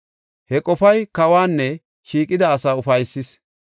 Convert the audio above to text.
He qofay kawanne shiiqida asaa ufaysis.